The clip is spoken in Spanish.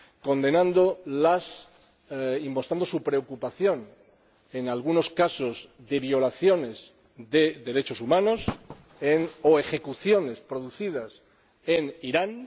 condenando y mostrando su preocupación por algunos casos de violaciones de los derechos humanos o ejecuciones que se han producido en Irán.